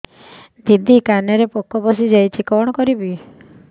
ଦିଦି କାନରେ ପୋକ ପଶିଯାଇଛି କଣ କରିଵି